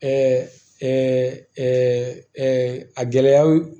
a gɛlɛyaw